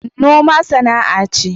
noma sana’a ce